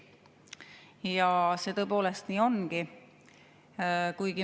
Ja see tõepoolest nii ongi.